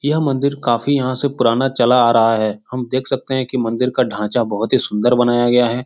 यह मंदिर काफी यहाँ से पुराना चला आ रहा है हम देख सकते हैं की मंदिर का ढाँचा बहुत ही सुन्दर बनाया गया है।